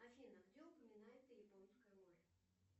афина где упоминается японское море